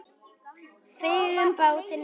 Fengum bátinn í dag.